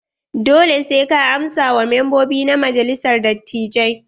Dole sai ka amsa wa membobi na majalisar dattijai.